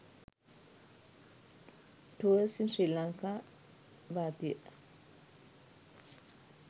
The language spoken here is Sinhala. tours in sri lanka bathiya